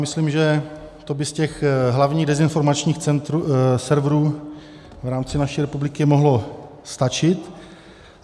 Myslím, že to by z těch hlavních dezinformačních serverů v rámci naší republiky mohlo stačit.